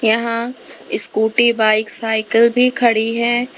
यहां scooty bike cycle भी खड़ी है।